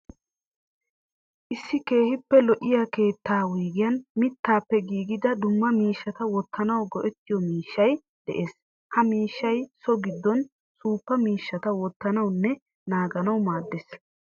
Issi keehippe lo'iya keettaa wuyigiyan mittaappe giigida dumma miishshata wottanawu go'ettiyo miishshayi de'ees. Ha miishshayi so giddon saapho miishshata wottanawunne naaganawu maaddees.